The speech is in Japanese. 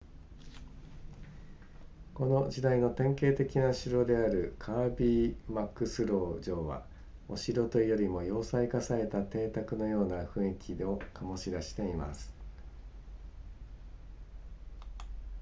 この時代の典型的な城であるカービーマクスロー城はお城というよりも要塞化された邸宅のような雰囲気を醸し出しています